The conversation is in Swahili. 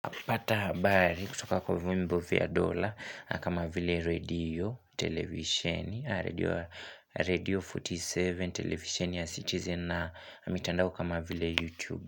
Pata habari kutoka kwa vyombo vya dola, kama vile redio, televisheni a redio radio 47, televisheni ya citizen, na mitandao kama vile youtube.